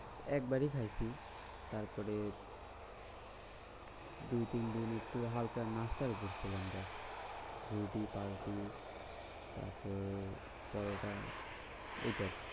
একবারই খাইছি তারপরে দুই তিনদিন একটু হালকা নাস্তা আর উপোস ছিলাম ব্যাস। রুটি পাউরুটি তারপর পরোটা এটাই।